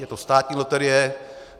Je to státní loterie.